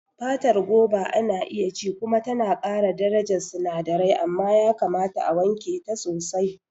Fatar Goba ana iya ci kuma tana ƙara darajar sinadirai, amma yakamata a wanke ta sosai.